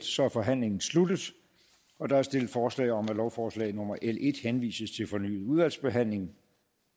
så er forhandlingen sluttet der er stillet forslag om at lovforslag nummer l en henvises til fornyet udvalgsbehandling